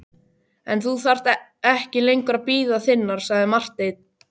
En þú þarft ekki lengur að bíða þinnar, sagði Marteinn.